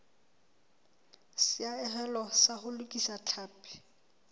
seahelo sa ho lokisa tlhapi